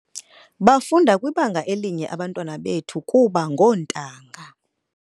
Bafunda kwibanga elinye abantwana bethu kuba ngoontanga .